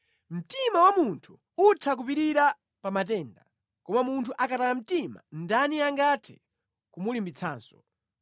Mtima wa munthu utha kupirira pa matenda, koma munthu akataya mtima ndani angathe kumulimbitsanso.